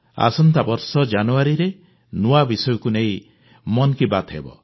ଆସନ୍ତାବର୍ଷ ଜାନୁଆରିରେ ନୂଆ ବିଷୟକୁ ନେଇ ମନ୍ କୀ ବାତ୍ ହେବ